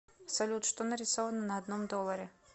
салют что нарисовано на одном долларе